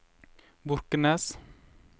Borkenes